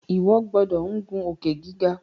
iwọ gbódò ngun Òkè-gíga!